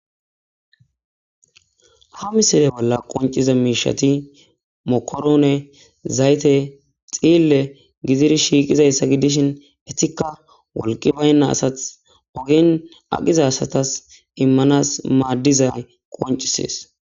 Ha missile bolla qoncciza miishati :- mokorone, zayte, dhiille gididi shiqidayssa gidishin eetika wolqi baynna asatas ogen aqqiza asatas immanasa maaddizay qoncisees.